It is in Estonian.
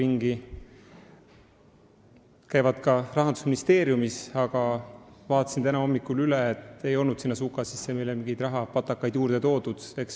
Nad käivad ka Rahandusministeeriumis, aga ma vaatasin täna hommikul üle, nad ei olnud meile suka sisse mingeid rahapatakaid toodud.